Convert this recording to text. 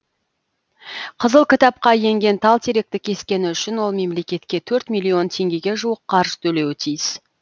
қызыл кітапқа енген тал теректі кескені үшін ол мемлекетке төрт миллион теңгеге жуық қаржы төлеуі тиіс